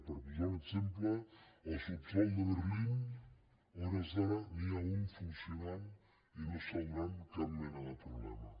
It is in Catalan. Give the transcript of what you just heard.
per posar un exemple al subsòl de berlín a hores d’ara n’hi ha un que funciona i no dóna cap mena de problema